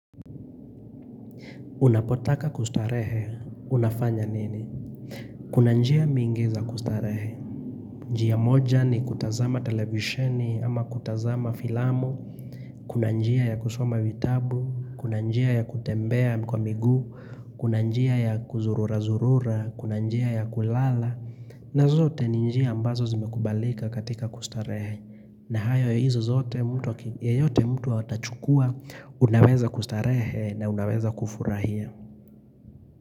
Unapotaka kustarehe, unafanya nini? Kuna njia mingi za kustarehe. Njia moja ni kutazama televisheni ama kutazama filamu. Kuna njia ya kusoma vitabu. Kuna njia ya kutembea kwa miguu. Kuna njia ya kuzururazurura. Kuna njia ya kulala. Na zote ni njia ambazo zimekubalika katika kustarehe. Na hayo hizo zote mtu yoyote mtu atachukua. Unaweza kustarehe na unaweza kufurahia.